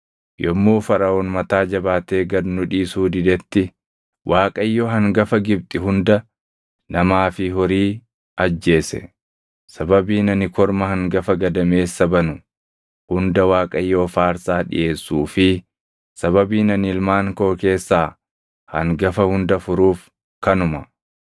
Yommuu Faraʼoon mataa jabaatee gad nu dhiisuu didetti, Waaqayyo hangafa Gibxi hunda namaa fi horii ajjeese. Sababiin ani korma hangafa gadameessa banu hunda Waaqayyoof aarsaa dhiʼeessuu fi sababiin ani ilmaan koo keessaa hangafa hunda furuuf kanuma.’